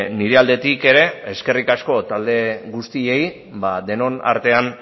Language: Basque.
nire aldetik ere eskerrik asko talde guztiei denon artean